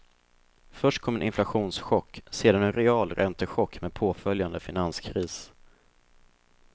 Först kom en inflationschock, sedan en realräntechock med påföljande finanskris.